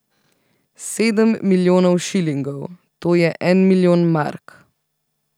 Sedem milijonov šilingov, to je en milijon mark.